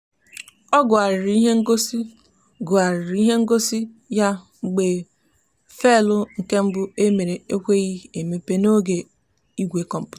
ọ gụgharịrị ihe ngosi gụgharịrị ihe ngosi ya mgbe faịlụ nke mbụ e mere ekweghị emepe n'igwe kọmputa ahụ.